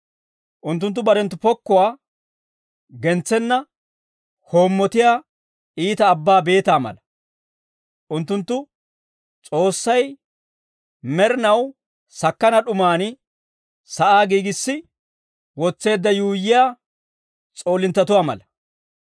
Unttunttu barenttu pokkuwaa gentsenna hoommotiyaa, iita abbaa beetaa mala. Unttunttu, S'oossay, med'inaw sakkana d'umaan sa'aa giigissi wotseedda yuuyyiyaa s'oolinttatuwaa mala.